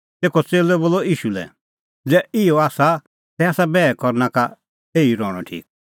तेखअ च़ेल्लै बोलअ ईशू लै ज़ै इहअ आसा तै आसा बैहा करनै का एही रहणअ ठीक